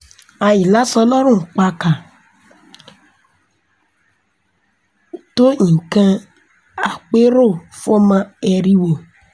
àìlàso lọ́rùn pàákà ò tó nǹkan àpérò fọ́mọ eriwo